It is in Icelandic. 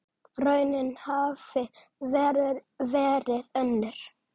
Raunin hafi verið önnur.